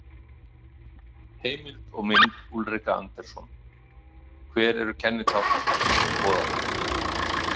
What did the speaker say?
Heimild og mynd Ulrika Andersson, Hver eru kennitákn grísku goðanna?